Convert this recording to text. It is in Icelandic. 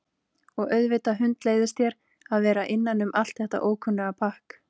Og auðvitað hundleiðist þér að vera innan um allt þetta ókunnuga pakk